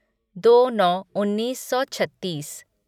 दो नौ उन्नीस सौ छत्तीस